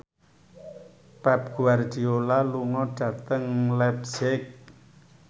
Pep Guardiola lunga dhateng leipzig